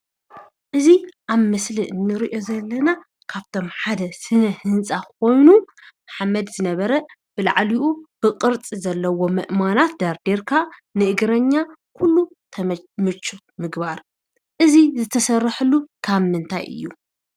እዚ ኣብ ምስሊ ንርኦ ዘለና ካብቶም ሓደ ስነ ህንፃ ኮይኑ ሓመድ ዝነበረ ብላዕሊኡ ብቅርፂ ዘለዎ ኣእማናት ደርዲርካ ንእግረኛ ኩሉ ተመቺ ምግባር እዚ ዝተሰርሐሉ ካብ ምንታይ እዩ?